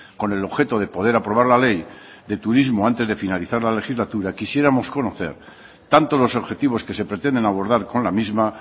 con el objeto de poder aprobar la ley de turismo antes de finalizar la legislatura quisiéramos conocer tanto los objetivos que se pretenden abordar con la misma